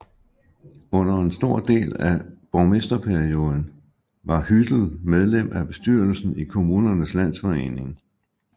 Under en stor del af borgmesterperioden var Hüttel medlem af bestyrelsen i Kommunernes Landsforening